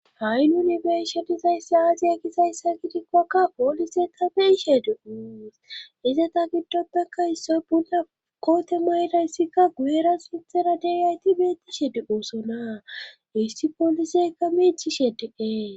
ha7i nuni be7ishe dizayssi aaze gizayssa gidikkoka poolise ta biishe di os ize ta giddodaka issoy bunla koote mayrayssikka guyera sinthena deayti beeti shedi oossona isti pooliseka miichi shediqee